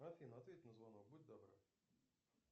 афина ответь на звонок будь добра